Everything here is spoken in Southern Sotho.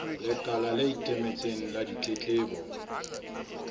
lekala le ikemetseng la ditletlebo